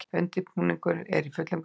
Undirbúningur er í fullum gangi